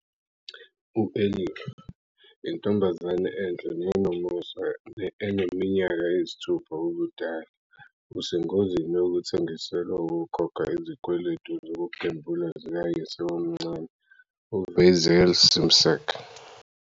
U-Elif, intombazane enhle nenomusa eneminyaka eyisithupha ubudala, usengozini yokuthengiselwa ukukhokha izikweletu zokugembula zikayise omncane, uVeysel Şimşek.